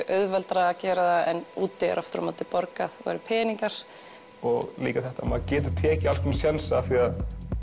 auðveldara að gera það en úti er aftur á móti borgaðir meiri peningar líka þetta að maður getir tekið alls konar sénsa því